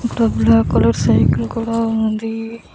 అక్కడ black colour cycle కూడా ఉంది.